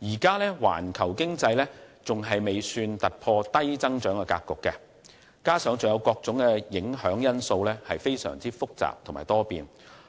現時環球經濟尚未突破低增長格局，加上各種影響因素非常複雜且多變，